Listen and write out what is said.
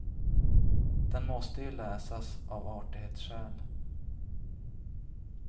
Den måste ju läsas, av artighetsskäl.